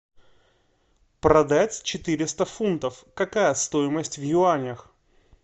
продать четыреста фунтов какая стоимость в юанях